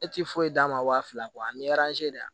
E ti foyi d'a ma wa fila ani de